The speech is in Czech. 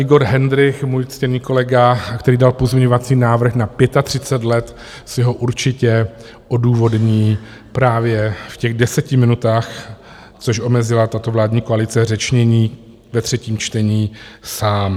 Igor Hendrych, můj ctěný kolega, který dal pozměňovací návrh na 35 let, si ho určitě odůvodní právě v těch deseti minutách, což omezila tato vládní koalice řečnění ve třetím čtení, sám.